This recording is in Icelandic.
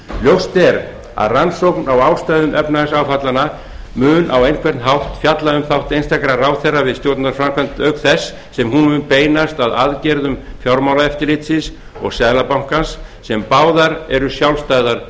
ljóst er að rannsókn á ástæðum efnahagsáfallanna mun á einhvern hátt fjalla um þátt einstakra ráðherra við stjórnarframkvæmd auk þess sem hún mun beinast að aðgerðum fjármálaeftirlitsins og seðlabankans sem báðar eru sjálfstæðar